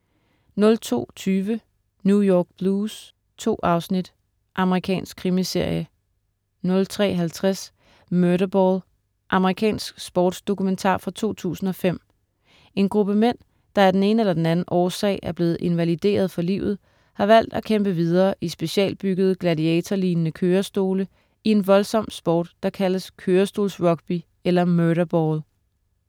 02.20 New York Blues. 2 afsnit. Amerikansk krimiserie 03.50 Murderball. Amerikansk sportsdokumentar fra 2005. En gruppe mænd, der af den ene eller den anden årsag er blevet invalideret for livet, har valgt at kæmpe videre i specialbyggede gladiatorlignende kørestole i en voldsom sport, der kaldes kørestolsrugby eller "Murderball"